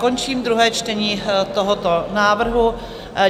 Končím druhé čtení tohoto návrhu.